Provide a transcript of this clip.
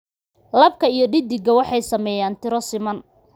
Labka iyo dheddigga waxay saameeyaan tiro siman.